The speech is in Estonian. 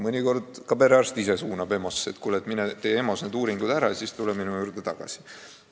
Mõnikord ka perearst ise soovitab minna EMO-sse: kuule, mine lase EMO-s need uuringud ära teha ja siis tule minu juurde tagasi.